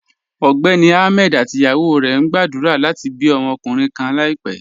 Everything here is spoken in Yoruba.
Ọgbẹ́ni Ahmed àti ìyàwó rẹ̀ ń gbàdúrà láti bí ọmọkunrìǹ kàn láìpẹ̀.